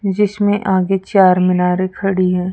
जिसमें आगे चार मीनार खड़ी हैं।